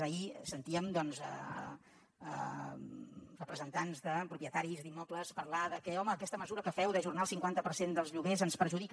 ahir sen tíem doncs representants de propietaris d’immobles parlar de que home aquesta mesura que feu d’ajornar el cinquanta per cent dels lloguers ens perjudica